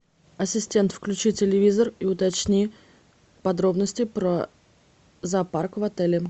ассистент включи телевизор и уточни подробности про зоопарк в отеле